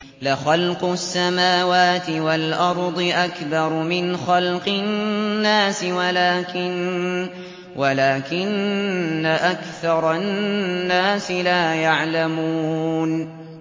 لَخَلْقُ السَّمَاوَاتِ وَالْأَرْضِ أَكْبَرُ مِنْ خَلْقِ النَّاسِ وَلَٰكِنَّ أَكْثَرَ النَّاسِ لَا يَعْلَمُونَ